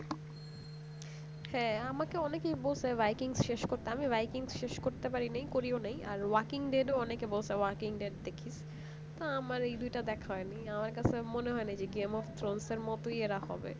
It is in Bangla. হ্যাঁ আমাকে অনেকেই বলছে by kings শেষ করতে আমি by king শেষ করতে পারিনি করিও নি আর walking dead অনেকে বলছে walking day দেখিস তো আমার এই দুটো দেখা হয়নি তো আমার কাছে মনে হয় না যে game of throne এর মত এরা হবে না